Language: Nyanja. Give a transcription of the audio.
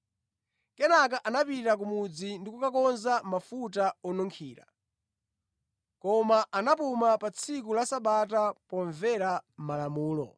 Kenaka anapita ku mudzi ndi kukakonza mafuta onunkhira. Koma anapuma pa tsiku la Sabata pomvera malamulo.